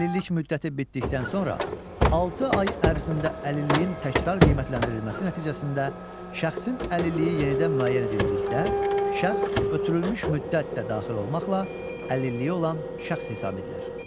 Əlillik müddəti bitdikdən sonra altı ay ərzində əlilliyin təkrar qiymətləndirilməsi nəticəsində şəxsin əlilliyi yenidən müəyyən edildikdə, şəxs ötürülmüş müddət də daxil olmaqla əlilliyi olan şəxs hesab edilir.